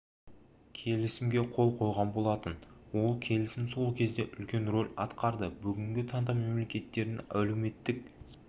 келісімге қол қойған болатын ол келісім сол кезде үлкен рөл атқарды бүгінгі таңда мемлекеттерінің әлеуметтік